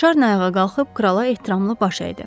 Şarni ayağa qalxıb krala ehtiramla baş əydi.